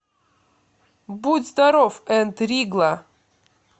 будь здоров энд ригла